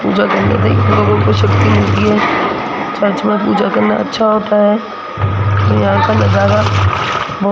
पूजा करने से लोगों को शक्ति मिलती है प्रार्थना पूजा करना अच्छा होता है और यहां का नजारा ब --